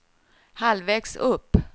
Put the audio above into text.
halvvägs upp